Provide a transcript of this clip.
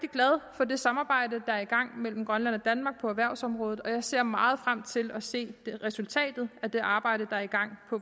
for det samarbejde der er i gang mellem grønland og danmark på erhvervsområdet og jeg ser meget frem til at se resultatet af det arbejde der er i gang